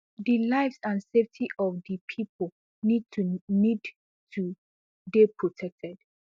di lives and safety of di pipo need to need to dey protected